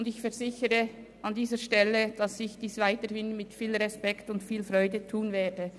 Ich versichere Ihnen, dass ich diese Tätigkeit weiterhin mit viel Respekt und Freude ausüben werde.